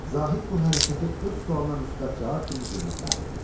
Zahid bu hərəkəti öz sualına müsbət cavab kimi qiymətləndirdi.